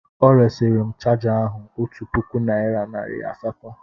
O resịrị m chaja ahu otu puku naịra nari asatọ.